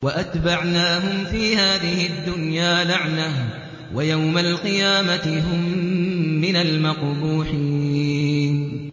وَأَتْبَعْنَاهُمْ فِي هَٰذِهِ الدُّنْيَا لَعْنَةً ۖ وَيَوْمَ الْقِيَامَةِ هُم مِّنَ الْمَقْبُوحِينَ